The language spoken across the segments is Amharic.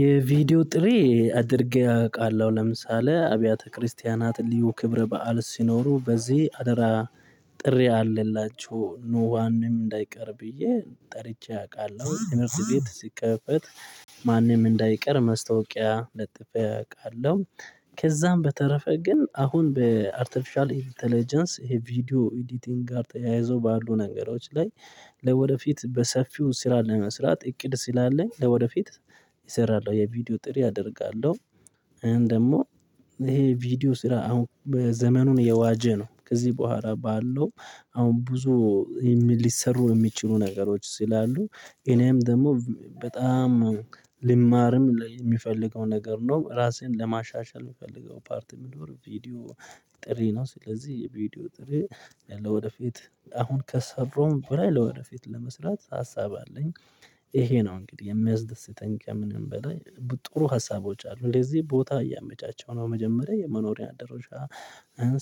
የቪዲዮ ጥሬ አድርጌ አውቃለሁ ለምሳሌ አብያተ ክርስቲያናት ልዩ ክብረ በዓል ሲኖሩ በዚህ አደራ ጥሪ አለላቸው ኖዋንም እንዳይቀር ብዬ ጠርቼ አውቃለሁ ትምህርት ቤት ሲከፈት ማንም እንዳይቀር ማስታወቂያ ለጥፌ አውቃለሁ። ከዛም በተረፈ ግን አሁን በአርቲፊሻል ኢንተለጀንስ ይሄ ቪዲዮ ኤዲቲንግ ጋር ተያይዞ ባሉ ነገሮች ላይ። ለወደፊት በሰፊው ስራ ለመስራት እቅድ ስላለኝ ለወደፊት እሰራለሁ። የቪዲዮ ጥሪ አደርጋለሁ እኔ ደግሞ ይሄ ቪዲዮ ስራ አሁን በዘመኑ የዋጀ ነው። ከዚህ በኋላ ባለው አሁን ብዙ ሊሰሩ የሚችሉ ነገሮች ሲላሉ እኔም ደግሞ በጣም ልማርም የሚፈልገው ነገር ነው። ራሴን ለማሻሻል የሚፈልገው ፓርቲ የሚኖር ቪዲዮ ጥሪ ነው። ስለዚህ የቪዲዮ ጥሪ ያለው ወደፊት አሁን ከሰሩም በላይ ለወደፊት ለመስራት ሀሳብ አለኝ። ይሄ ነው እንግዲህ የሚያስደስተኝ ከምንም በላይ ጥሩ ሀሳቦች አሉ እንደዚህ ቦታ እያመቻቸው ነው። መጀመሪያ የመኖሪያ ደረጃ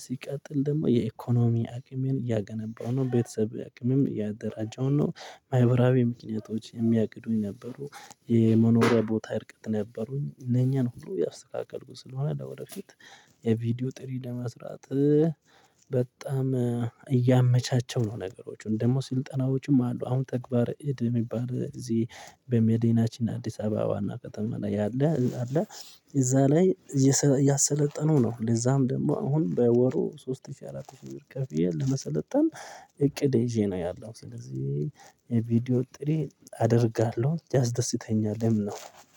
ሲቀጥል ደግሞ የኢኮኖሚ አቅሜን እያገነባው ነው። ቤተሰብ አቅምም እያደራጀው ነው። ማዕበራዊ ምክንያቶች የሚያቅዱኝ ነበሩ። የመኖሪያ ቦታ እርቀት ነበሩኝ ለኛ ነው ሁሉ ያስተካከሉ ስለሆነ ወደፊት የቪዲዮ ጥሪ ለመስራት በጣም እያመቻቸው ነው። ነገሮች ደግሞ ስልጠናዎችም አሉ። አሁን ተግባር እድ የሚባል እዚህ በሜዲናችን አዲስ አበባ ዋና ከተማ ላይ ያለ አለ። እዛ ላይ ያሰለጠነው ነው። ለዛም ደግሞ አሁን በወሩ ሶስት ሺህ አራት ሺህ ብር ከፍዬ ለመሰለጠን እቅድ ይዤ ነው። ያለው ስለዚህ ቪዲዮ ጥሬ አደርጋለሁ ያስደስተኛል የምናውቀው